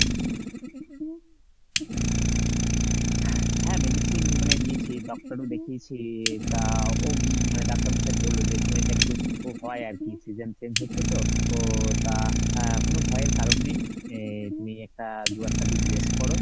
হ্যাঁ medicine মানে নিয়েছি ডাক্তারও দেখিয়েছি তা ডাক্তার মশাই বললো যে এই সময় টা একটু হয় আরকি , season change হচ্ছে তো ও তা আহ কোনো ভয়ের কারন নেই আহ তিনি একটা দু একটা দিন rest করো